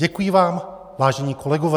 Děkuji vám, vážení kolegové.